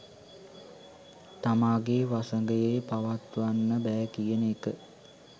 තමාගේ වසඟයේ පවත්වන්න බෑ කියන එක.